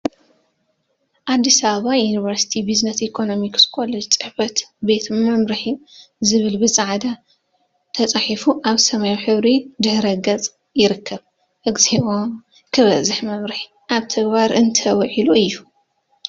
አዲስ አበባ ዩኒቨርሲቲ ቢዝነስና ኢኮኖሚክስ ኮሌጅ ፅሕፈት ቤት መምርሒ ዝብል ብፃዕዳ ተፃሒፉ አብ ሰማያዊ ሕብሪ ድሕረ ገፅ ይርከብ፡፡ እግዚኦ! ክበዝሕ መምርሒ… አብ ተግባር እንተዊዒሉ እዩ፡፡